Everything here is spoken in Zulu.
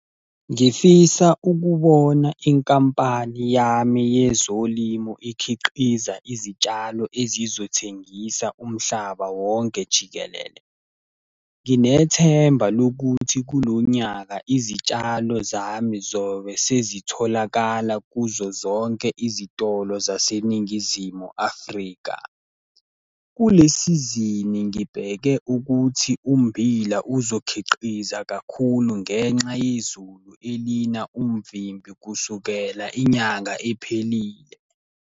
Ngifisa ukubona inkampani yami yezolimo ikhiqiza izitshalo ezizothengisa umhlaba wonke jikelele. Nginethemba lokuthi kulo nyaka izitshalo zami zobe sezitholakala kuzo zonke izitolo zaseNingizimu Afrika. Kule sizini, ngibheke ukuthi ummbila uzokhiqiza kakhulu ngenxa yezulu elina umvimbi kusukela inyanga iphelile.